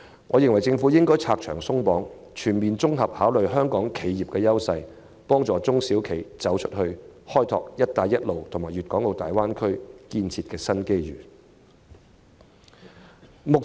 我認為政府應拆牆鬆綁，全面考慮香港企業的優勢，幫助中小企"走出去"，開拓"一帶一路"和粵港澳大灣區建設的新機遇。